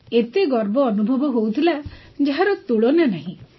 ଏତେ ଗର୍ବ ଅନୁଭବ ହେଉଥିଲା ଯାହାର ତୁଳନା ନାହିଁ